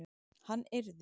Hann yrði